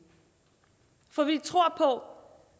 for vi tror